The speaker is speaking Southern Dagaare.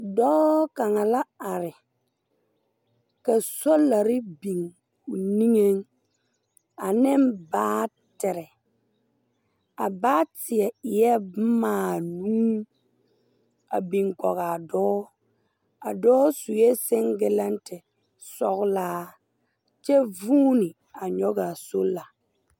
Dɔɔ kaŋa la are ka solarre biŋ o niŋeŋ aneŋ baatere a baatie eɛɛ bomaa nuu a biŋ kɔgaa dɔɔ a dɔɔ suɛ senggilɛnte sɔglaa kyɛ vūūne a nyɔgaa sola.